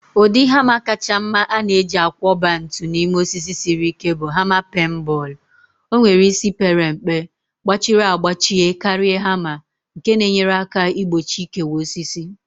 Ụdị hama kacha mma a na-eji akwọba ntu n'ime osisi siri ike bụ hama peen bọọlụ. O nwere isi pere mpe, gbachiri agbachie karịa hama, nke na-enyere aka igbochi ikewa osisi.